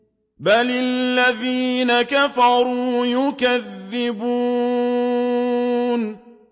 بَلِ الَّذِينَ كَفَرُوا يُكَذِّبُونَ